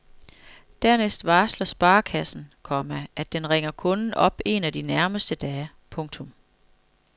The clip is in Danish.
Dernæst varsler sparekassen, komma at den ringer kunden op en af de nærmeste dage. punktum